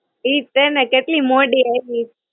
ઈજ છે ને કેટલી મોડી આયવી તી.